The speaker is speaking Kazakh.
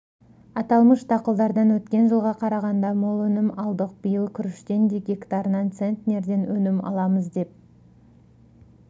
аталмыш дақылдардан өткен жылға қарағанда мол өнім алдық биыл күріштен де гектарынан центнерден өнім аламыз деп